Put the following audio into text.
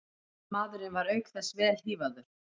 Maðurinn var auk þess vel hífaður